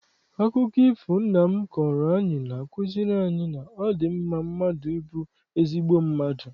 Akụkọ ifo ahụ nna m kọọrọ anyị na-akuziri anyị na ọ dị mma mmadụ ịbụ ezigbo mmadụ.